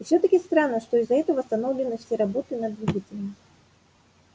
и всё-таки странно что из-за этого остановлены все работы над двигателем